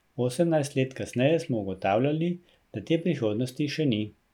Osemnajst let kasneje smo ugotavljali, da te prihodnosti še ni.